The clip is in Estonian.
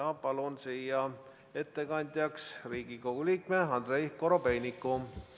Palun siia ettekandjaks Riigikogu liikme Andrei Korobeiniku.